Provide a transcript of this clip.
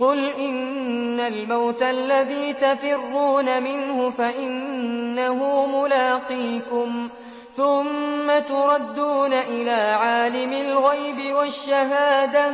قُلْ إِنَّ الْمَوْتَ الَّذِي تَفِرُّونَ مِنْهُ فَإِنَّهُ مُلَاقِيكُمْ ۖ ثُمَّ تُرَدُّونَ إِلَىٰ عَالِمِ الْغَيْبِ وَالشَّهَادَةِ